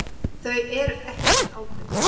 Þau eru ekki til átu.